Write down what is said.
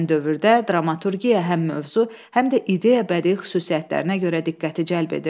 Həmin dövrdə dramaturgiya həm mövzu, həm də ideya-bədii xüsusiyyətlərinə görə diqqəti cəlb edirdi.